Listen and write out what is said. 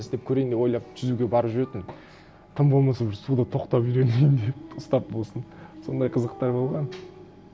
істеп көрейін деп ойлап жүзуге барып жүретінмін тым болмаса уже суда тоқтап үйренейін деп ұстап болсын сондай қызықтар болған